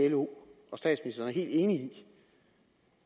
lo og statsministeren er helt enige i